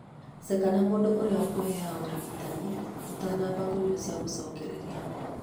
Ceka na mũndũ ũrĩa ukũhea ũrigitani ũtanamba kũnyũa cia gũcokereria